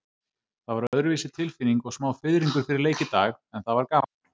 Það var öðruvísi tilfinning og smá fiðringur fyrir leik í dag, en það var gaman.